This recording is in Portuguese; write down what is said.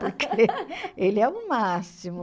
Porque ele é o máximo.